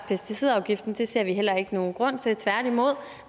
pesticidafgiften det ser vi heller ikke nogen grund til tværtimod